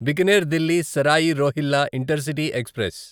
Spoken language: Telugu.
Bikaner Delhi Sarai Rohilla intercity express